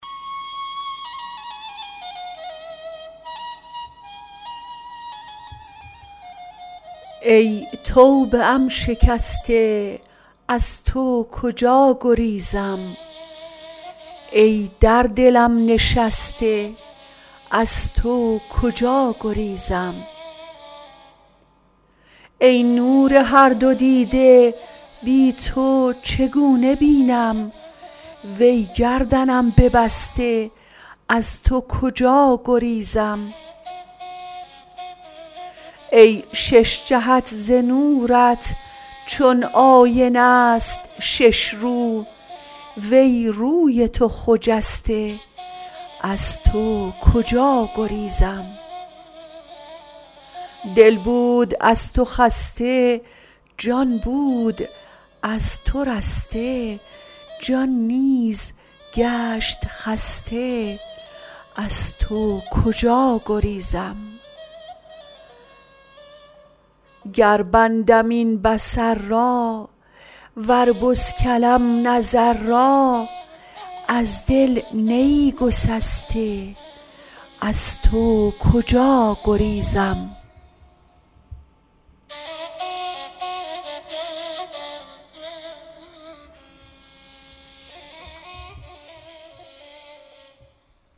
ای توبه ام شکسته از تو کجا گریزم ای در دلم نشسته از تو کجا گریزم ای نور هر دو دیده بی تو چگونه بینم وی گردنم ببسته از تو کجا گریزم ای شش جهت ز نورت چون آینه ست شش رو وی روی تو خجسته از تو کجا گریزم دل بود از تو خسته جان بود از تو رسته جان نیز گشت خسته از تو کجا گریزم گر بندم این بصر را ور بسکلم نظر را از دل نه ای گسسته از تو کجا گریزم